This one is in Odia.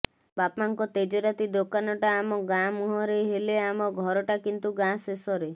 ବାପାଙ୍କ ତେଜରାତି ଦୋକାନଟା ଆମ ଗାଁ ମୁହଁରେ ହେଲେ ଆମ ଘରଟା କିନ୍ତୁ ଗାଁ ଶେଷରେ